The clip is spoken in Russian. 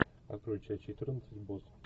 открой часть четырнадцать босс